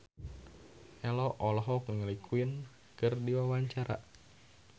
Ello olohok ningali Queen keur diwawancara